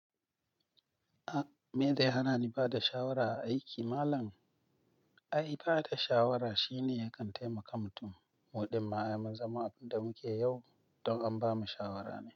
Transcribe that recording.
A me da hana ni ba da shawara a aiki malam? Ai ba da shawara shine yakan taimaka mutun. Mu ɗin ma ai mun zama abun da muke yau don an bamu shawara ne.